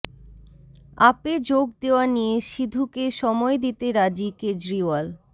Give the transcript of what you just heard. আপে যোগ দেওয়া নিয়ে সিধুকে সময় দিতে রাজি কেজরিওয়াল